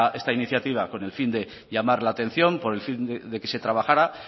esta iniciativa con el fin de llamar la atención con el fin de que se trabajara